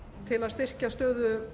til að styrkja stöðu